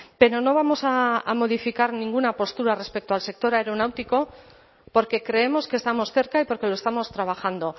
pero no vamos a modificar ninguna postura respecto al sector aeronáutico porque creemos que estamos cerca y porque lo estamos trabajando